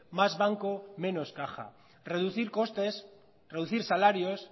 más banco menos caja reducir costes reducir salarios